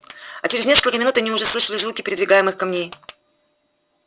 а через несколько минут они уже слышали звуки передвигаемых камней